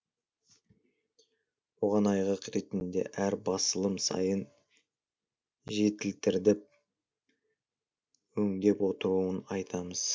оған айғақ ретінде әр басылым сайын жетілдіріп өңдеп отыруын айтамыз